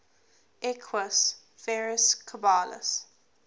equus ferus caballus